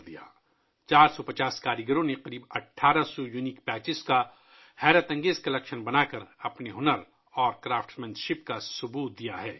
450 کاریگروں نے تقریباً 1800 منفرد پیچز کا ایک حیرت انگیز مجموعہ بنا کر اپنی مہارت اور کاریگری کا مظاہرہ کیا ہے